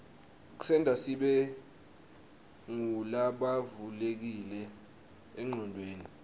ksenta sibe ngulabavulekile enqcondweni